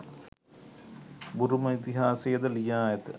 බුරුම ඉතිහාසයද ලියා ඇත.